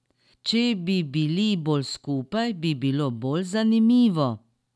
Če bi bili bolj skupaj, bi bilo bolj zanimivo.